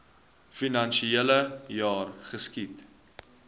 finansiele jaar geskied